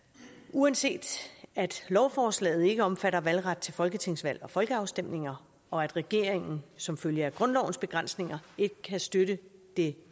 uanset at lovforslaget ikke omfatter valgret til folketingsvalg og folkeafstemninger og at regeringen som følge af grundlovens begrænsninger ikke kan støtte det